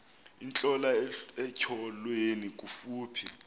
intlola etyholweni kufuphi